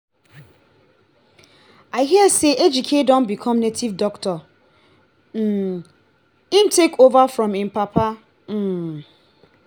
i hear say ejike don become native doctor um he take over from im papa um